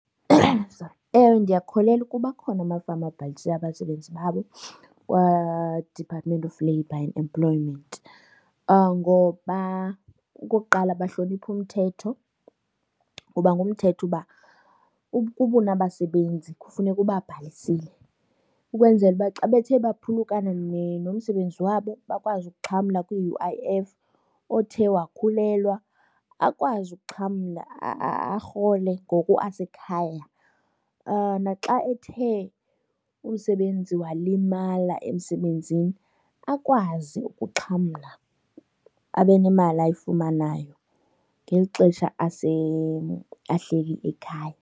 Sorry. Ewe ndiyakholelwa ukuba akhona amafama abhalise abasebenzi babo kwaDepartment of Labour and Employment ngoba okokuqala bahlonipha umthetho. Ngoba ngumthetho uba ukuba unabasebenzi kufuneka ubabhalisile ukwenzela uba xa bethe baphulukane nomsebenzi wabo bakwazi ukuxhamla kwi-U_I_F, othe wakhulelwa akwazi ukuxhamla arhole ngoku asekhaya. Naxa ethe umsebenzi walimala emsebenzini akwazi ukuxhamla abe nemali ayifumanayo ngeli xesha ahleli ekhaya.